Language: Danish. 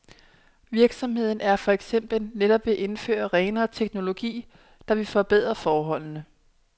Virksomheden er for eksempel netop ved at indføre renere teknologi, der vil forbedre forholdene.